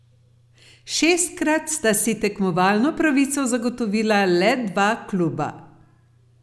Šestkrat sta si tekmovalno pravico zagotovila le dva kluba.